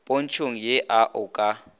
pontšhong ye a o ka